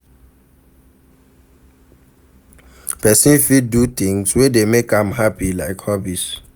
person fit do di things wey dey make am happy like hobbies